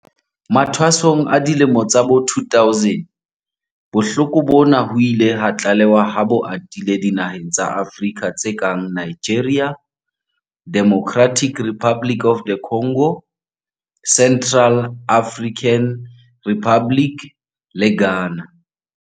Mathwasong a dilemo tsa bo 2000, bohloko bona ho ile ha tlalehwa ha bo atile dinaheng tsa Afrika tse kang Nigeria, Democratic Republic of the Congo, Central African Republic le Ghana.